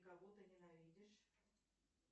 кого ты ненавидишь